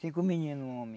Cinco meninos homem.